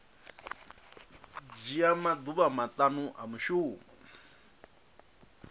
dzhia maḓuvha maṱanu a mushumo